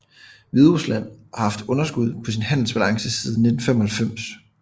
Hviderusland har haft underskud på sin handelsbalance siden 1995